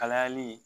Kalayali